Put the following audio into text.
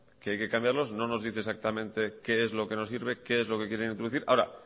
que hay que cambiarlos no nos dice exactamente qué es lo que no sirve qué es lo que quieren introducir ahora